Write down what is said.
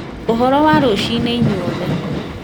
ũhoro wa rũcinĩ inyuothe